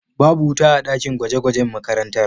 Babu wuta a dakin gwaje gwajen makarantar